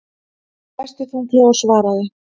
Hann dæsti þunglega og svaraði.